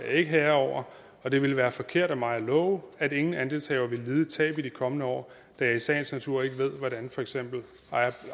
ikke herre over og det ville være forkert af mig at love at ingen andelshaver vil lide et tab i de kommende år da jeg i sagens natur ikke ved hvordan for eksempel